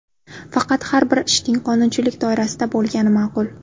Faqat har bir ishning qonunchilik doirasida bo‘lgani ma’qul.